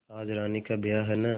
आज रानी का ब्याह है न